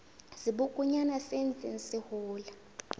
sebokonyana se ntseng se hola